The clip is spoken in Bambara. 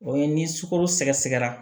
O ye ni sukaro sɛgɛsɛgɛra